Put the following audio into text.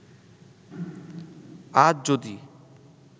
আজ যদি